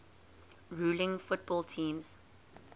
rules football teams